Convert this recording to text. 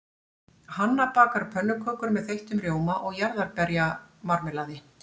Hanna bakar pönnukökur með þeyttum rjóma og jarðarberjamarmelaði.